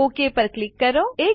okay પર click કરો